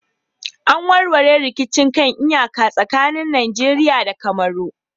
An warware rikicin kan iyaka tsakanin Najeriya da Cameron